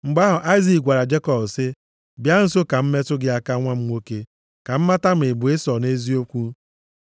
Mgbe ahụ Aịzik gwara Jekọb sị, “Bịa nso ka m metụ gị aka nwa m nwoke, ka m mata ma ị bụ Ịsọ nʼeziokwu.”